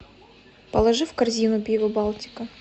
положи в корзину пиво балтика